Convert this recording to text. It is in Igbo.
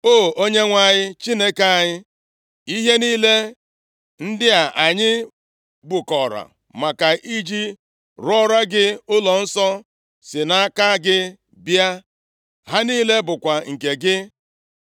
O, Onyenwe anyị Chineke anyị, ihe niile ndị a anyị bukọrọ maka iji rụọra gị ụlọnsọ si nʼaka gị bịa. Ha niile bụkwa nke gị.